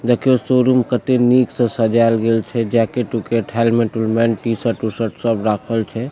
देखियों शोरूम कते निक से सजाएल गेल छै जैकेट-उकेट हेलमेट उलमेट टी-शर्ट उ शर्ट सब राखल छै।